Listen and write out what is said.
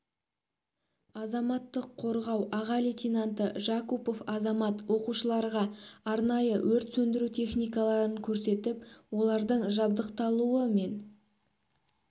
азаматтық қорғау аға лейтенанты жакупов азамат оқушыларға арнайы өрт сөндіру техникаларын көрсетіп олардың жабдықталуы мен